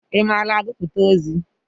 Ị maara agụpụta ozi?